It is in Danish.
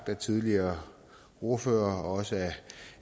af tidligere ordførere og også